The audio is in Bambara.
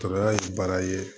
Tɔɔrɔya ye baara ye